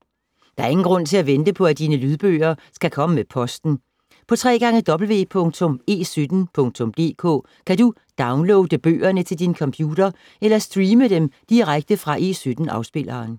Der er ingen grund til at vente på, at dine lydbøger skal komme med posten. På www.e17.dk kan du downloade bøgerne til din computer eller streame dem direkte fra E17-afspilleren.